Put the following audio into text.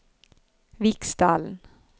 Viksdalen